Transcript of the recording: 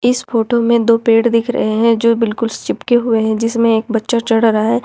इस फोटो में दो पेड़ दिख रहे हैं जो बिल्कुल चिपके हुए हैं जिसमें एक बच्चा चढ़ रहा है।